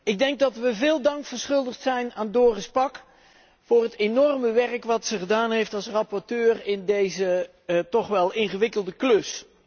Ik denk dat we veel dank verschuldigd zijn aan Doris Pack voor het enorme werk dat ze verzet heeft als rapporteur in deze toch wel ingewikkelde klus.